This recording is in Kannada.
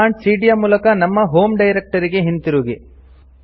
ಕಮಾಂಡ್ ಸಿಡಿಯ ಯ ಮೂಲಕ ನಮ್ಮ ಹೋಂ ಡೈರೆಕ್ಟರಿ ಗೆ ಹಿಂದಿರುಗಿ